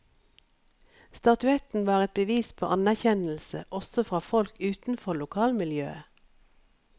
Statuetten var et bevis på anerkjennelse også fra folk utenfor lokalmiljøet.